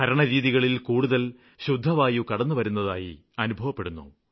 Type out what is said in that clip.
ഭരണരീതികളില് കൂടുതല് ശുദ്ധവായു കടന്നുവരുന്നതായി അനുഭവപ്പെടുന്നു